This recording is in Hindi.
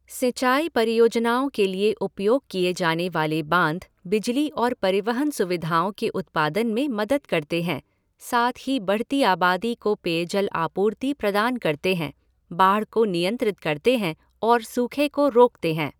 सिंचाई परियोजनाओं के लिए उपयोग किए जाने वाले बांध बिजली और परिवहन सुविधाओं के उत्पादन में मदद करते हैं, साथ ही बढ़ती आबादी को पेयजल आपूर्ति प्रदान करते हैं, बाढ़ को नियंत्रित करते हैं और सूखे को रोकते हैं।